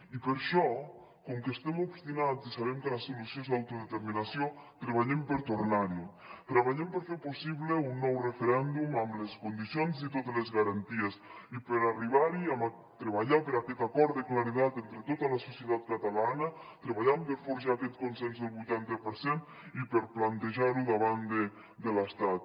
i per això com que estem obstinats i sabem que la solució és l’autodeterminació treballem per tornar hi treballem per fer possible un nou referèndum amb les condicions i totes les garanties i per arribar hi a treballar per aquest acord de claredat entre tota la societat catalana treballant per forjar aquest consens del vuitanta per cent i per plantejar ho davant de l’estat